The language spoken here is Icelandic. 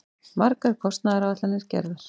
Margar kostnaðaráætlanir gerðar.